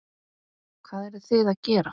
Hvað eruð þið að gera?